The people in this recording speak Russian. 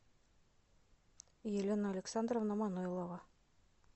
елена александровна манойлова